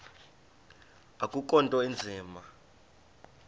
akukho nto inzima